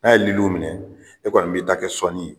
N'a ye liliw minɛ e kɔni b'i ta kɛ sɔnni ye